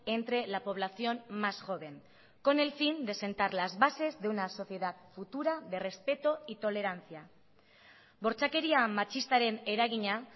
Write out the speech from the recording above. entre la población más joven con el fin de sentar las bases de una sociedad futura de respeto y tolerancia bortxakeria matxistaren eragina